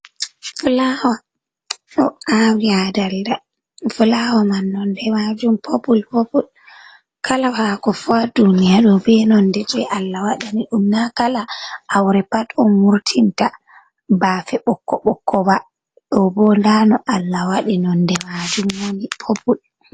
Fulawaa ɗo awi ha dalda fulawa man nonde majum popul popol, kala hako fu ha duniya do be nonde je Allah waɗani ɗum na kala aure pat on wurtinta bafe ɓokko ɓokko ba ɗo bo nda no Allah wadi nonde majum woni popul.